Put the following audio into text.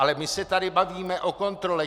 Ale my se tady bavíme o kontrole.